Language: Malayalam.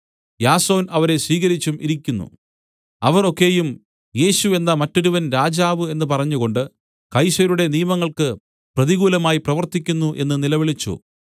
യാസോൻ അവരെ സ്വീകരിച്ചും ഇരിക്കുന്നു അവർ ഒക്കെയും യേശു എന്ന മറ്റൊരുവൻ രാജാവ് എന്നു പറഞ്ഞുകൊണ്ട് കൈസരുടെ നിയമങ്ങൾക്ക് പ്രതികൂലമായി പ്രവർത്തിക്കുന്നു എന്ന് നിലവിളിച്ചു